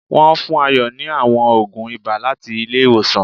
Wón fún Ayo ni àwọn ògùn ibà láti ilé ìwòsàn